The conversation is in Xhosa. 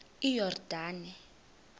iyordane